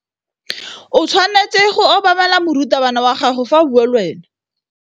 O tshwanetse go obamela morutabana wa gago fa a bua le wena.